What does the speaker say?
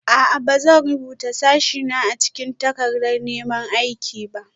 A'a. Ba zan rubuta sashena a cikin takardar neman aiki ba